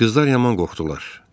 Qızlar yaman qorxdular.